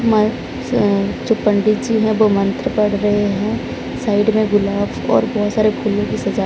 जो पंडित जी हैं वो मंत्र पढ़ रहे हैं साइड में गुलाब और बहोत सारे फूलों की सजा--